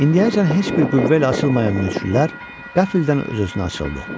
İndiyəcən heç bir qüvvə ilə açılmayan möcürülər qəfildən öz-özünə açıldı.